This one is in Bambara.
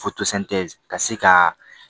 ka se ka